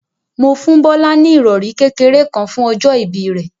Mo fún Bọ́lá ní ìrọ̀rí kékeré kan fún ọjọ́ ìbí rẹ̀.